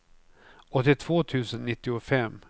åttiotvå tusen nittiofem